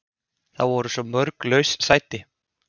Það voru svo mörg laus sæti.